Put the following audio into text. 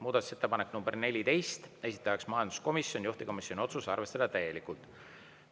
Muudatusettepanek nr 14, esitaja majanduskomisjon, juhtivkomisjoni otsus: arvestada täielikult.